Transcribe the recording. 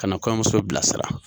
Ka na kɔɲɔnmuso bila sira.